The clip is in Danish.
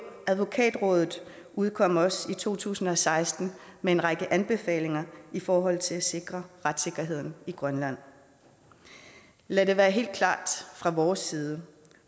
advokatrådet udkom også i to tusind og seksten med en række anbefalinger i forhold til at sikre retssikkerheden i grønland lad det være helt klart fra vores side